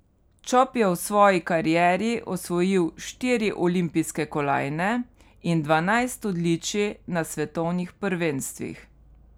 Čop je v svoji karieri osvojil štiri olimpijske kolajne in dvanajst odličij na svetovnih prvenstvih.